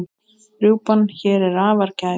Rjúpan hér er afar gæf.